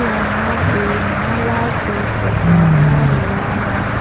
यहां पे माला से सजाया हुआ है।